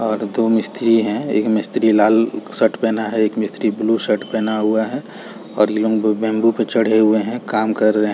--और दो मिस्त्री है एक मिस्त्री है लाल शर्ट पहना है एक मिस्त्री ब्लू शर्ट पहना हुआ है और लिंगु बम्बू पर चढ़े हुए है काम कर रहे है।